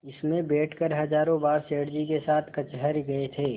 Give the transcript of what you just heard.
इसमें बैठकर हजारों बार सेठ जी के साथ कचहरी गये थे